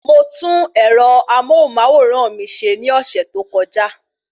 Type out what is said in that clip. Mo tún ẹ̀rọ amóhùnmáwòrán mi ṣe ní ọ̀sẹ̀ tó kọjá